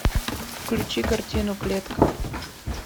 включи картину клетка